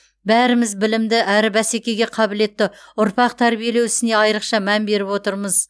бәріміз білімді әрі бәсекеге қабілетті ұрпақ тәрбиелеу ісіне айрықша мән беріп отырмыз